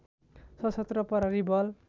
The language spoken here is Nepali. सशस्त्र प्रहरी बल